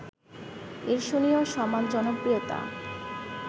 ঈর্ষণীয় সমান জনপ্রিয়তা